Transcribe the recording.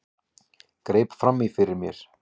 Greip fram í fyrir mér.